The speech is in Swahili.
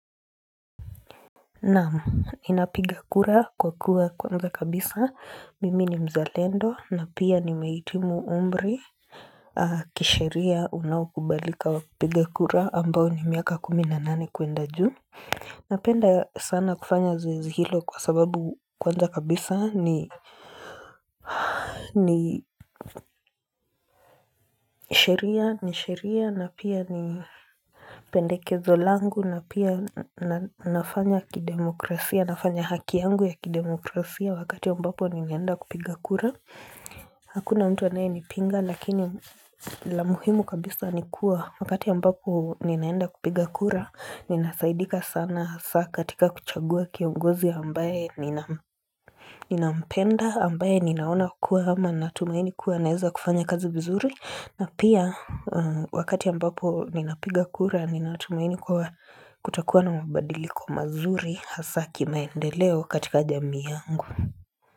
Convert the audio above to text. Naam, ninapiga kura kwa kuwa kwanza kabisa mimi ni mzalendo na pia nimehitimu umri kisheria unaokubalika wa kupiga kura ambao ni miaka kumi na nane kwenda juu. Napenda sana kufanya zoezi ilo kwa sababu kwanza kabisa ni sheria ni sheria na pia ni Pendekezo langu na pia na nafanya kidemokrasia nafanya haki yangu ya kidemokrasia wakati ambapo ninaenda kupiga kura Hakuna mtu anaye nipinga lakini la muhimu kabisa ni kuwa wakati ambapo ninaenda kupiga kura ninasaidika sana saa katika kuchagua kiongozi ambaye Ninampenda ambaye ninaona kuwa ama natumaini kuwa anaeza kufanya kazi vizuri na pia wakati ambapo ninapiga kura Ninatumaini kwa kutakuwa na mabadiliko mazuri hasaa kimaendeleo katika jamii yangu.